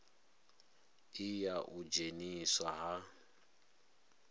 i ya u dzheniswa ha